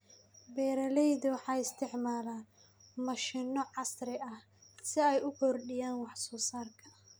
Beeraleydu waxay isticmaalaan mashiino casri ah si ay u kordhiyaan wax soo saarka.